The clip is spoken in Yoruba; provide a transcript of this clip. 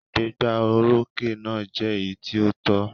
Ìgbégbá orókè náà jẹ́ èyí tí ó tọ́.